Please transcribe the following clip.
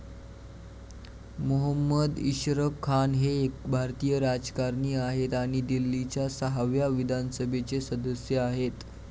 मोहम्मद इशरक खान हे एक भारतीय राजकारणी आहेत आणि दिल्लीच्या सहाव्या विधानसभेचे सदस्य आहेत.